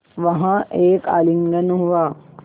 वहाँ एक आलिंगन हुआ